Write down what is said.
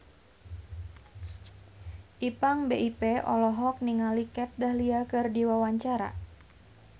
Ipank BIP olohok ningali Kat Dahlia keur diwawancara